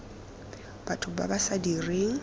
batho ba ba sa direng